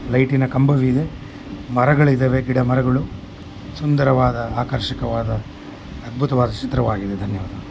ಇದು ಬೇರೆ ಭಾಷೆಯ ಫೈಲ್ ಹಾಗಿದೆ ನೋಡಿ.